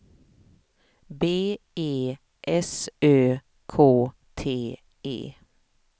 B E S Ö K T E